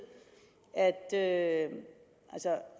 at